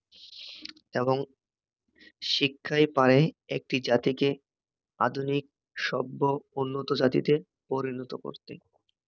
এবং শিক্ষাই পারে একটি জাতিকে আধুনিক সভ্য উন্নত জাতিতে পরিনত করতে।